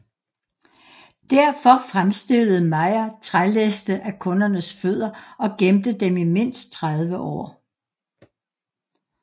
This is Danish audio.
Derfor fremstillede Mayr trælæste af kundernes fødder og gemte dem i mindst 30 år